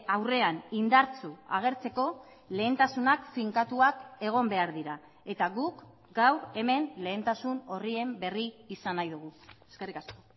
aurrean indartsu agertzeko lehentasunak finkatuak egon behar dira eta guk gaur hemen lehentasun orrien berri izan nahi dugu eskerrik asko